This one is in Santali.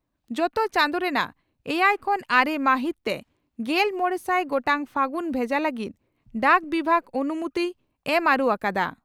ᱡᱚᱛᱚ ᱪᱟᱸᱫᱚ ᱨᱮᱱᱟᱜ ᱮᱭᱟᱭ ᱠᱷᱚᱱ ᱟᱨᱮ ᱢᱟᱦᱤᱛ ᱛᱮ ᱜᱮᱞ ᱢᱚᱲᱮᱥᱟᱭ ᱜᱚᱴᱟᱝ ᱯᱷᱟᱹᱜᱩᱱ ᱵᱷᱮᱡᱟ ᱞᱟᱹᱜᱤᱫ ᱰᱟᱠ ᱵᱤᱵᱷᱟᱜᱽ ᱟᱱᱩᱢᱳᱛᱤᱭ ᱮᱢ ᱟᱹᱨᱩ ᱟᱠᱟᱫᱼᱟ ᱾